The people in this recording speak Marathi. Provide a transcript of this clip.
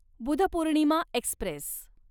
बुधपूर्णिमा एक्स्प्रेस